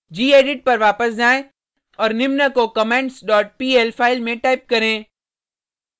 gedit पर वापस जाएँ और निम्न को comments dot pl फाइल में टाइप करें